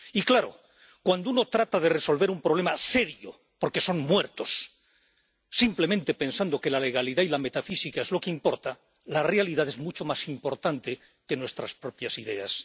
Y, claro, cuando uno trata de resolver un problema serio —porque se trata de muertos— simplemente pensando que la legalidad y la metafísica es lo que importa, la realidad es mucho más importante que nuestras propias ideas.